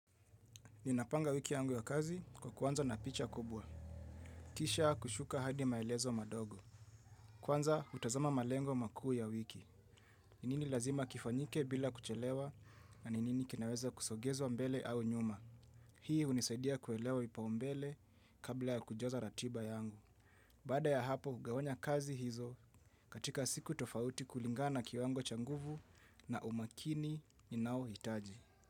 Ninapanga wiki yangu ya kazi kwa kuanza na picha kubwa. Kisha kushuka hadi maelezo madogo. Kwanza hutazama malengo makuu ya wiki. Ni nini lazima kifanyike bila kuchelewa na ni nini kinaweza kusogezwa mbele au nyuma. Hii hunisaidia kuelewa vipaumbele kabla ya kujaza ratiba yangu. Baada ya hapo, hugawanya kazi hizo katika siku tofauti kulingana na kiwango cha nguvu na umakini ninaohitaji.